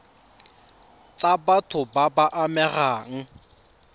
tsa batho ba ba amegang